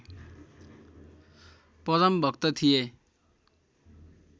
परम भक्त थिए